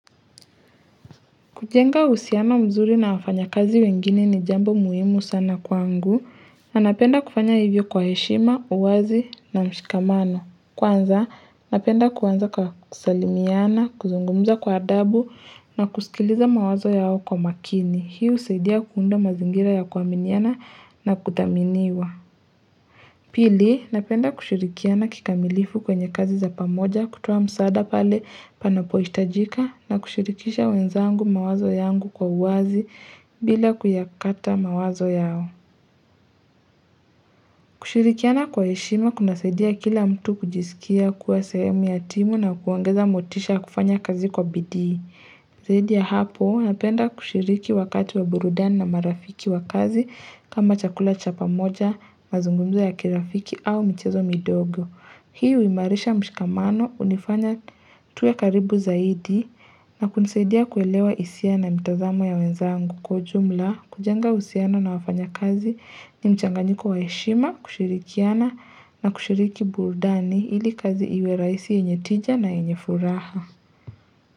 Kujenga uhusiano mzuri na wafanya kazi wengine ni jambo muhimu sana kwangu, na napenda kufanya hivyo kwa heshima, uwazi na mshikamano. Kwanza, napenda kuanza kwa kusalimiana, kuzungumza kwa adabu na kusikiliza mawazo yao kwa makini. Hii husaidia kuunda mazingira ya kuaminiana na kuthaminiwa. Pili, napenda kushirikiana kikamilifu kwenye kazi za pamoja kutoa msaada pale panapohitajika na kushirikisha wenzangu mawazo yangu kwa uwazi bila kuyakata mawazo yao. Kushirikiana kwa heshima kuna saidia kila mtu kujisikia kuwa sehemu ya timu na kuongeza motisha ya kufanya kazi kwa bidii. Zaidi ya hapo napenda kushiriki wakati wa burudani na marafiki wa kazi kama chakula cha pamoja, mazungumzo ya kirafiki au michezo midogo. Hii huimarisha mshikamano hunifanya tuwe karibu zaidi na kunisaidia kuelewa hisia na mitazamo ya wenzangu kwa ujumla kujenga uhusiano na wafanya kazi ni mchanganyiko wa heshima kushirikiana na kushiriki burudani ili kazi iwe rahisi yenye tija na yenye furaha.